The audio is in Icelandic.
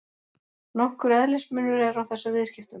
Nokkur eðlismunur er á þessum viðskiptum.